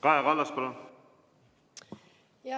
Kaja Kallas, palun!